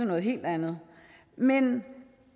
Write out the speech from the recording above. noget helt andet men